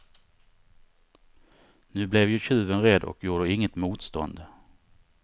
Nu blev ju tjuven rädd och gjorde inget motstånd.